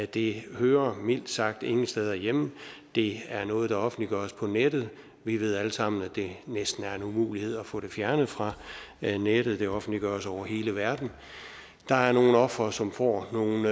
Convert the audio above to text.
det hører mildt sagt ingen steder hjemme det er noget der offentliggøres på nettet vi ved alle sammen at det næsten er en umulighed at få det fjernet fra nettet det offentliggøres over hele verden der er nogle ofre som får nogle